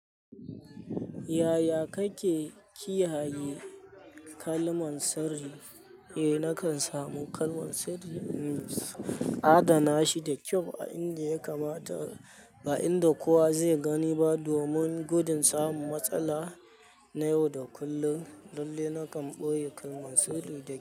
Yaya kake kiyaye kalman sirri? Eh nakan samu kalman sirri in adana shi da kyau a inda ya kamata, ba inda kowa zai gani ba domin gudun samun matsala. Na yau da kullum. Lallai na kan boye kalmar sirri da.